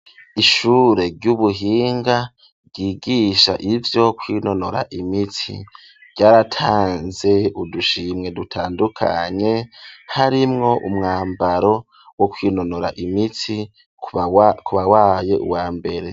Ishure ry'ubuhinga ryigisha ivyo kwinonora imitsi ryaratanze udushimwe dutandukanye harimwo umwambaro wo kwinonora imitsi kuwabaye uwa mbere.